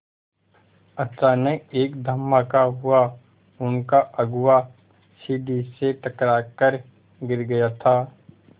अचानक एक धमाका हुआ उनका अगुआ सीढ़ी से टकरा कर गिर गया था